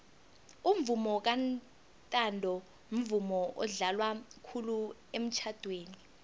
umvomo kantanto mvumo odlalwa khulu emitjhadweni